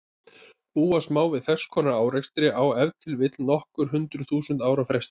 Búast má við þess konar árekstri á ef til vill nokkur hundruð þúsund ára fresti.